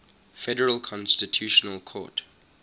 federal constitutional court